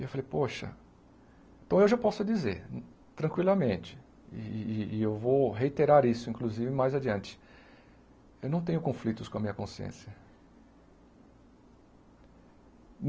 E eu falei, poxa, então hoje eu posso dizer tranquilamente, e e e eu vou reiterar isso inclusive mais adiante, eu não tenho conflitos com a minha consciência.